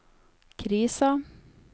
krisa